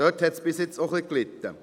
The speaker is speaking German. Daran litt es bisher auch ein wenig.